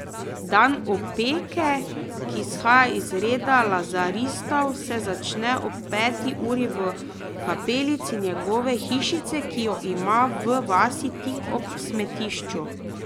Dan Opeke, ki izhaja iz reda lazaristov, se začne ob peti uri v kapelici njegove hišice, ki jo ima v vasi tik ob smetišču.